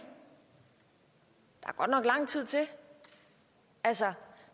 og nok lang tid til altså